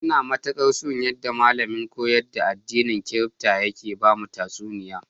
Ina matikar so, yadda malamin koyar da addinin Kiribati yake bamu tatsuniya.